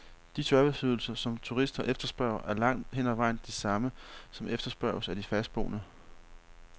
De serviceydelser, som turister efterspørger, er langt hen ad vejen de samme, som efterspørges af de fastboende.